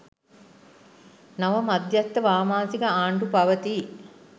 නව මධ්‍යස්ථ වාමාංශික ආණ්ඩු පවතී